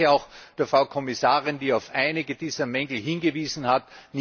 Ich danke auch der Frau Kommissarin, die auf einige dieser Mängel hingewiesen hat.